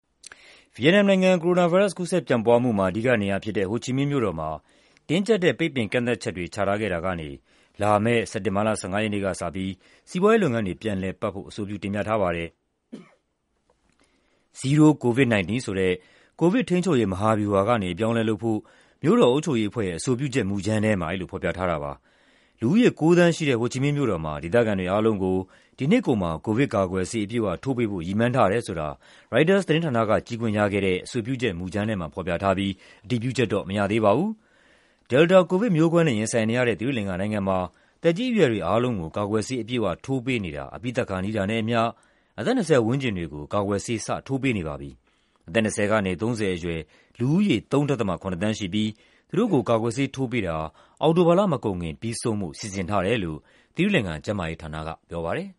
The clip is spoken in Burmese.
ဗီယက်နမ်နိုင်ငံ၊ ကိုရိုနာဗိုင်းရပ်စ် ကူးစက်ပျံ့ပွားမှုမှာ အဓိကနေရာဖြစ်တဲ့ ဟိုချီမင်းမြို့တော်မှာ တင်းကျပ်တဲ့ ပိတ်ပင်ကန့်သတ်ချက်တွေ ချထားခဲ့တာကနေ လာမယ့် စက်တင်ဘာလ ၁၅ ရက်နေ့ကစပြီး စီးပွားရေးလုပ်ငန်းတွေ ပြန်လည်ပတ်ဖို့ အဆိုပြုတင်ပြထားပါတယ်။ "Zero-COVID-19" ဆိုတဲ့ ကိုဗစ်ထိန်းချုပ်ရေး မဟာဗျူဟာကနေ အပြောင်းအလဲလုပ်ဖို့ မြို့တော်အုပ်ချုပ်ရေးအဖွဲ့ရဲ့ အဆိုပြုချက်မူကြမ်းထဲမှာ အဲဒီလိုဖော်ပြထားတာပါ။ လူဦးရေ ၉ သန်းရှိတဲ့ ဟိုချီမင်းမြို့တော်မှာ ဒေသခံတွေအားလုံးကို ဒီနှစ်ကုန်မှာ ကိုဗစ်ကာကွယ်ဆေး အပြည့်အဝထိုးပေးဖို့ ရည်မှန်းထားတယ်ဆိုတာ ရိုက်တာသတင်းဌာနက ကြည့်ခွင့်ရခဲ့တဲ့ အဆိုပြုချက်မူကြမ်းထဲမှာ ဖော်ပြထားပြီး အတည်ပြုချက်တော့ မရသေးပါဘူး။ Delta ကိုဗစ်မျိုးကွဲနဲ့ ရင်ဆိုင်နေရတဲ့ သီရိလင်္ကာနိုင်ငံမှာ သက်ကြီးအရွယ်တွေအားလုံးကို ကာကွယ်ဆေး အပြည့်အဝထိုးပေးနေတာ အပြီးသတ်ခါနီးတာနဲ့အမျှ အသက် ၂၀ ပတ်ဝန်းကျင်တွေကို ကာကွယ်ဆေး စထိုးပေးနေပါပြီ။ အသက် ၂၀ ကနေ ၃၀ အရွယ် လူဦးရေရ ၃.၇ သန်းရှိပြီး သူတို့ကို ကာကွယ်ဆေးထိုးပေးတာ အောက်တိုဘာလမကုန်ခင် ပြီးဆုံးဖို့ စီစဉ်ထားတယ်လို့ သီရိလင်္ကာ ကျန်းမာရေးဌာနက ပြောပါတယ်